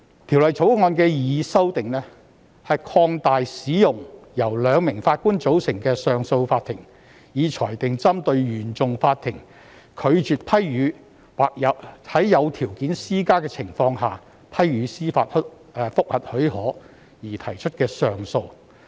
《條例草案》的擬議修訂，是擴大使用由兩名上訴法庭法官所組成的上訴法庭，以裁定針對原訟法庭拒絕批予或在施加條件的情況下批予司法覆核許可而提出的上訴。